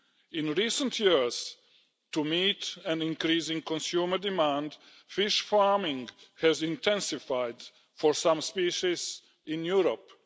In recent years, to meet an increasing consumer demand, fish farming has intensified for some species in Europe.